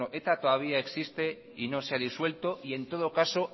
bueno eta todavía existe y no se ha disuelto en todo caso